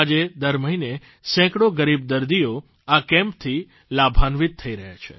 આજે દર મહિને સેંકડો ગરીબ દર્દીઓ આ કેમ્પથી લાભાન્વિત થઇ રહ્યા છે